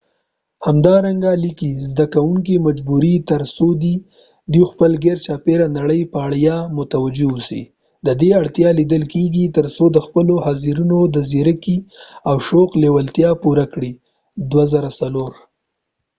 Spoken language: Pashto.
همدارنګه لیکي زده کوونکي مجبوري تر تر څو دوی د خپل ګیرچاپيره نړۍ په اړه متوجه اوسي ددې اړتیا لیدل کېږي تر څو د خپلو حاضرینو د ځیرکۍ او شوق لیوالتیا پوره کړي toto 2004